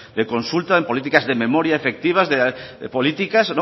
de consulta en políticas de memoria efectivas de políticas